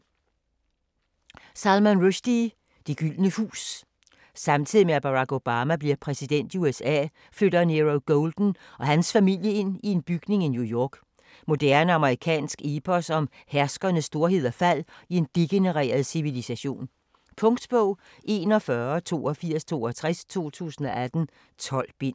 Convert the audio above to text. Rushdie, Salman: Det Gyldne Hus Samtidig med at Barak Obama bliver præsident i USA, flytter Nero Golden og hans familie ind i en bygning i New York. Moderne amerikansk epos om herskeres storhed og fald i en degenereret civilisation. Punktbog 418262 2018. 12 bind.